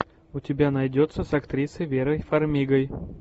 у тебя найдется с актрисой верой фармигой